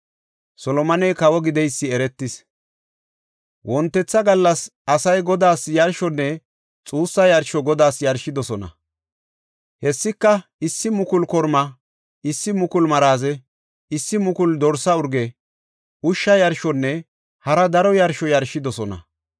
Wontetha gallas asay yarshonne xuussa yarsho Godaas yarshidosona. Hessika issi mukulu kormaa, issi mukulu maraze, issi mukulu dorsa urge, ushsha yarshonne hara daro yarsho yarshidosona.